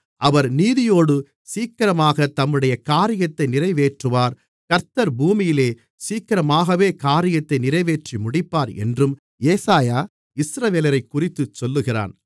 அவர் நீதியோடு சீக்கிரமாகத் தம்முடைய காரியத்தை நிறைவேற்றுவார் கர்த்தர் பூமியிலே சீக்கிரமாகவே காரியத்தை நிறைவேற்றி முடிப்பார் என்றும் ஏசாயா இஸ்ரவேலரைக்குறித்துச் சொல்லுகிறான்